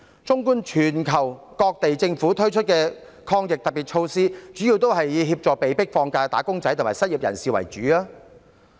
綜觀全球各地政府推出的抗疫特別措施，主要是協助被迫放假的"打工仔"和失業人士。